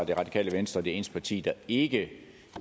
det radikale venstre det eneste parti der ikke